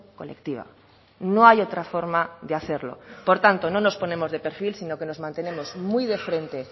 colectiva no hay otra forma de hacerlo por tanto no nos ponemos de perfil sino que nos mantenemos muy de frente